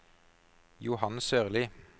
Johan Sørli